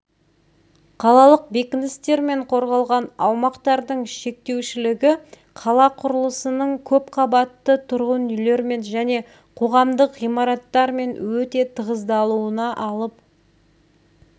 қалалық бекіністермен қорғалған аумақтардың шектеушілігі қала құрылысының көп қабатты тұрғын үйлермен және қоғамдық ғимараттармен өте тығыздалуына алып